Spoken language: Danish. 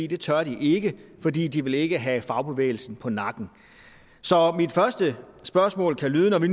det tør de ikke for de de vil ikke have fagbevægelsen på nakken så mit første spørgsmål lyder vi